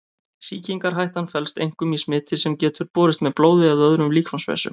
Sýkingarhættan felst einkum í smiti sem getur borist með blóði eða öðrum líkamsvessum.